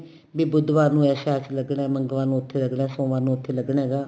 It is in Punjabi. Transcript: ਬੀ ਬੁਧਵਾਰ ਨੂੰ ਇਸ ਸ਼ਹਿਰ ਚ ਲੱਗਣਾ ਮੰਗਲਵਾਰ ਨੂੰ ਉੱਥੇ ਲੱਗਣਾ ਸੋਮਵਾਰ ਨੂੰ ਉੱਥੇ ਲੱਗਣਾ ਹੈਗਾ